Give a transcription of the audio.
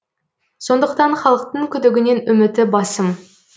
сондықтан халықтың күдігінен үміті басым